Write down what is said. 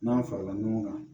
N'an farala ɲɔgɔn kan